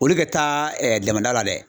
Olu ka taa damada la dɛ